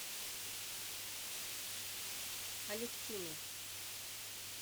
алевтиной